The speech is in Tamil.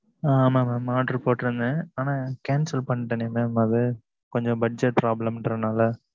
ஆமாம் mam order போட்டு இருந்தன் ஆனா cancel பண்ணிட்டேன் mam அது கொஞ்சம் budget problem னால